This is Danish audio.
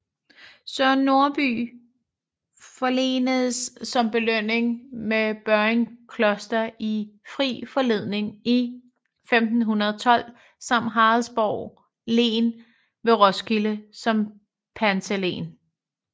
Søren Norby forlenedes som belønning med Børringe Kloster i fri forlening i 1512 samt Haraldsborg len ved Roskilde som pantelen